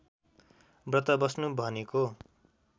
व्रत बस्नु भनेको